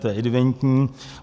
To je evidentní.